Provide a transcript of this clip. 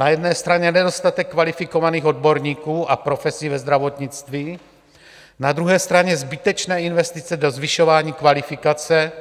Na jedné straně nedostatek kvalifikovaných odborníků a profesí ve zdravotnictví, na druhé straně zbytečné investice do zvyšování kvalifikace,